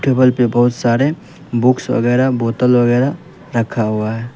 Table पे बहुत सारे बुक्स वगैरा बोतल वगैरा रखा हुआ है।